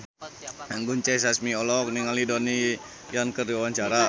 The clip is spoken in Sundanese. Anggun C. Sasmi olohok ningali Donnie Yan keur diwawancara